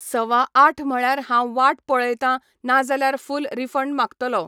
सवा आठ म्हळ्यार हांव वाट पळयतां ना जाल्यार फूल रिफंड मागतलो.